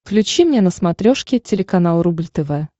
включи мне на смотрешке телеканал рубль тв